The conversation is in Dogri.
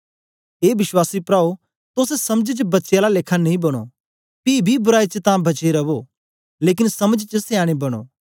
ए विश्वासी प्राओ तोस समझ च बच्चें आला लेखा नेई बनो पी बी बराई च तां बच्चे रवो लेकन समझ च सयानें बनो